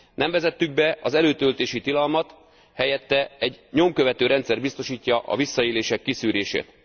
Nem vezettük be az előtöltési tilalmat, helyette egy nyomkövető rendszer biztosítja a visszaélések kiszűrését.